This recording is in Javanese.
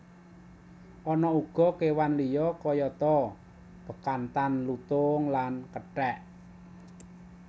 Ana uga kewan liya kayata bekantan lutung lan kethek